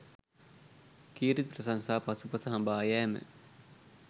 කීර්ති ප්‍රශංසා පසුපස හඹා යෑම